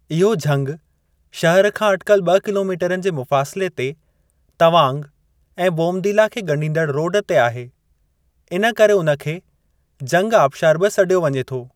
इहो झंगि शहर खां अटिकल ब॒ किलोमीटरनि जे मुफ़ासिले ते तवांग ऐं बोमदीला खे ॻंढींदड़ रोडु ते आहे, इन करे उन खे जंगि आबशारु बि सॾियो वञे थो।